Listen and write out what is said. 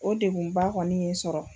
O degun ba kɔni i sɔrɔ.